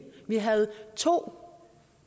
vi havde to